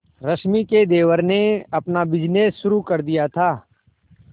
रश्मि के देवर ने अपना बिजनेस शुरू कर दिया था